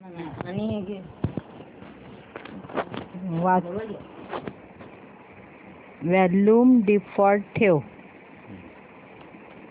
volume default ठेव